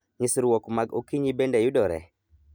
Nyisrwok mag okinyi bende yudore?